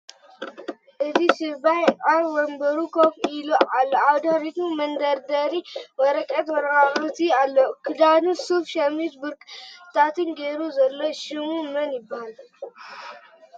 እዚ ስባይ ኣብ ወንብሩ ኮፍ ኢሉ ኣሎ ኣብ ድሕሪቱ መደርደሪ ወረቀትን ወረቃቅትን ኣሎ ክዳኑ ሱፍ ፣ሸሚዝ፣ ብክርባትን ጌሩ ዘሎ ሽሙ መን ይበሃል?